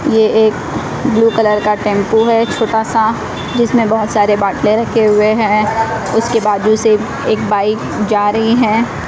ये एक blue colour का टेंपो है छोटा सा जिसमें बहोत सारे बाटले रखे हुए हैं उसके बाजू से एक बाइक जा रही है।